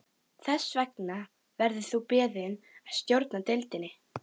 Þess vegna verður þú beðinn að stjórna deildinni